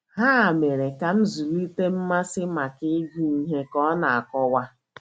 “ Ha mere ka m zụlite mmasị maka ịgụ ihe, ” ka ọ na - akọwa.